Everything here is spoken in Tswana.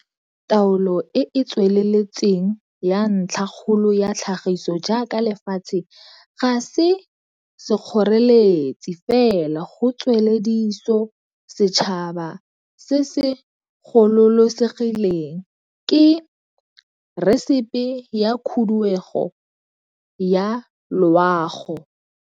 Taolo e e tsweletseng ya ntlhakgolo ya tlhagiso jaaka lefatshe ga se sekgoreletsi fela go tswelediso setšhaba se se gololosegileng, ke resepe ya khuduego ya loago.